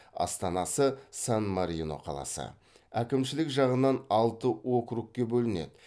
астанасы сан марино қаласы әкімшілік жағынан алты округке бөлінеді